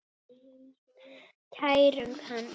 Kærum hann.